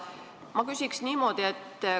Ma küsin niimoodi.